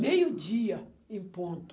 meio dia em ponto.